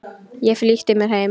Ég flýtti mér heim.